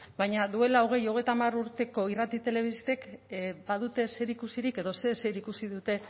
baina duela hogei hogeita hamar urteko irrati telebistek badute zerikusirik edo zer zerikusi dute